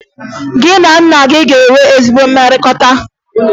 Gị na nna gị e nwere ezi mmekọrịta?